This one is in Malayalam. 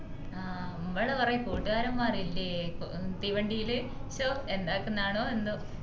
ആഹ് മ്മളെ കൊറേ കൂട്ടുകാരന്മാര് ഇന്ഡീ തീവണ്ടീല് ഷോ എന്തക്കണ്ണനോ എന്തോ